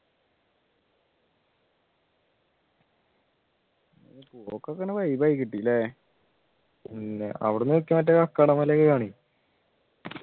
പോക്കൊക്കെ അങ്ടു vibe ആയിക്കിട്ടി ല്ലേ പിന്നെ അവിടെന്നു മിക്ക മറ്റേ